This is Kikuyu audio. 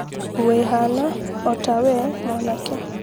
wĩhana ota we mwanake